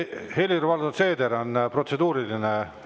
Helir-Valdor Seeder, protseduuriline.